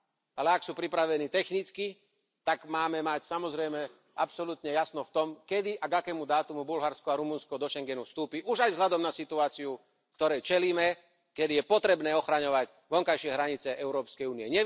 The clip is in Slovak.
ale ak sú pripravení technicky, tak máme mať samozrejme absolútne jasno v tom, kedy a k akému dátumu Bulharsko a Rumunsko do Schengenu vstúpia, už aj vzhľadom na situáciu, ktorej čelíme, keď je potrebné ochraňovať vonkajšie hranice Európskej únie.